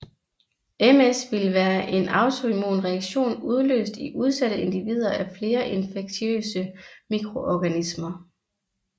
MS ville være en autoimmun reaktion udløst i udsatte individer af flere infektiøse mikroorganismer